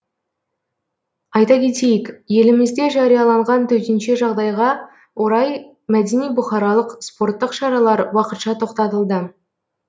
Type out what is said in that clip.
айте кетейік елімізде жарияланған төтенше жағдайға орай мәдени бұқаралық спорттық шаралар уақытша тоқтатылды